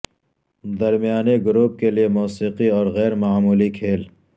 درمیانی گروپ کے لئے موسیقی اور غیر معمولی کھیل